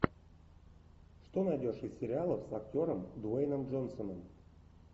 что найдешь из сериалов с актером дуэйном джонсоном